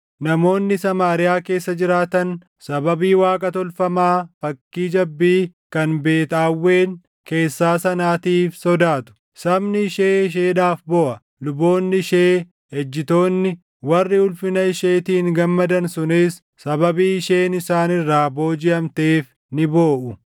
Namoonni Samaariyaa keessa jiraatan sababii waaqa tolfamaa fakkii jabbii // kan Beet Aawwen keessaa sanaatiif sodaatu. Sabni ishee isheedhaaf booʼa. Luboonni ishee ejjitoonni warri ulfina isheetiin gammadan sunis sababii isheen isaan irraa boojiʼamteef ni booʼu.